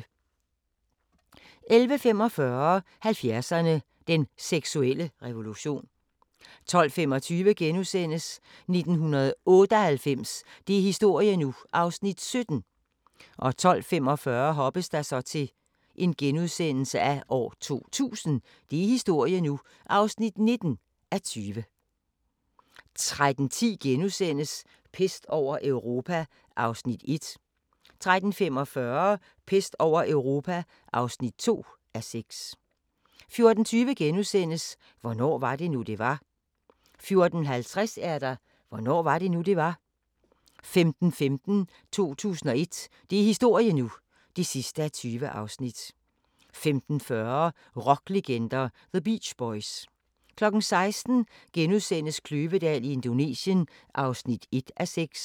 11:45: 70'erne: Den seksuelle revolution 12:25: 1998 – det er historie nu! (17:20)* 12:45: 2000 – det er historie nu! (19:20)* 13:10: Pest over Europa (1:6)* 13:45: Pest over Europa (2:6) 14:20: Hvornår var det nu, det var? * 14:50: Hvornår var det nu, det var? 15:15: 2001 – det er historie nu! (20:20) 15:40: Rocklegender – The Beach Boys 16:00: Kløvedal i Indonesien (1:6)*